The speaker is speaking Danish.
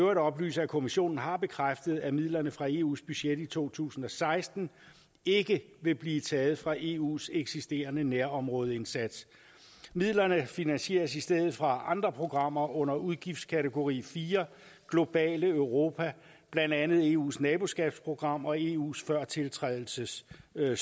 øvrigt oplyse at kommissionen har bekræftet at midlerne fra eus budget i to tusind og seksten ikke vil blive taget fra eus eksisterende nærområdeindsats midlerne finansieres i stedet fra andre programmer under udgiftskategori fire globale europa blandt andet eus naboskabsprogrammer og eus førtiltrædelsesstøtte